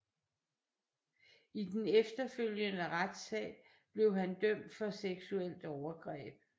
I den efterfølgende retssag blev han dømt for seksuelt overgreb